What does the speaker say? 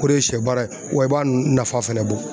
O de ye sɛ baara ye wa i b'a nafa fɛnɛ bɔ